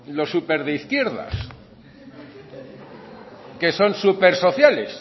los súper de izquierdas que son súper sociales